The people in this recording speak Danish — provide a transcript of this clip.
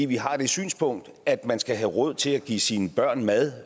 vi har det synspunkt at man skal have råd til at give sine børn mad